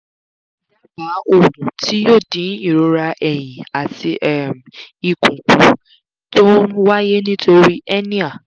dábàá ògùn tí yóò dín ìrora ẹ̀yìn àti um ikùn kù tó ń wáyé nítorí hernia